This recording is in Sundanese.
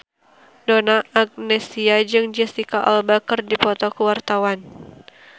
Donna Agnesia jeung Jesicca Alba keur dipoto ku wartawan